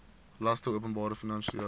laste openbare finansiële